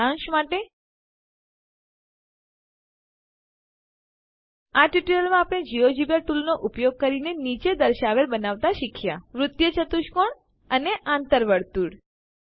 સારાંશ માટે આ ટ્યુટોરીયલમાં આપણે જિયોજેબ્રા ટૂલોનો ઉપયોગ કરીને નીચે દર્શાવેલ બનાવતા શીખ્યા વૃત્તીય ચતુષ્કોણ અને આંતર વર્તુળ